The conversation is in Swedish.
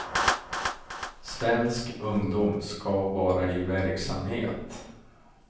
Svensk ungdom ska vara i verksamhet.